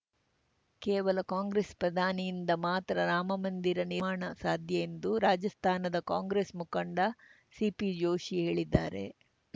ಕೇವಲ ಕಾಂಗ್ರೆಸ್‌ ಪ್ರಧಾನಿಯಿಂದ ಮಾತ್ರ ರಾಮಮಂದಿರ ನಿರ್ಮಾಣ ಸಾಧ್ಯ ಎಂದು ರಾಜಸ್ಥಾನದ ಕಾಂಗ್ರೆಸ್‌ ಮುಖಂಡ ಸಿಪಿ ಜೋಶಿ ಹೇಳಿದ್ದಾರೆ